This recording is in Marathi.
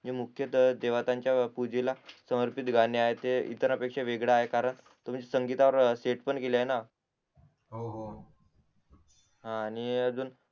हे मुख्य तर देवतांच्या पूजेला समर्पित गाणी आहेत ते इतरांपेक्षा वेगळं आहे कारण तुम्ही संगीतावर सेट पण केल आहे ना हो हो हा आणि अजून